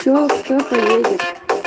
кто поедет